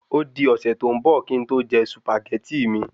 Ódi ọ̀sẹ̀ tó ń bò kín n to je Sùpàgẹ́tì mi